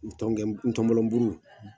Ntɔmɔnɔbulu